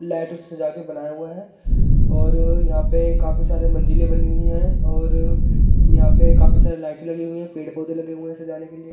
लाइटों से सजा के बनाया हुआ है और यहां पे काफी सारे मंजिलें बनी हुई हैं और यहां पे काफी सारी लाइट लगी हुई है पेड़-पौधे लगे हुए हैं सजाने के लिए--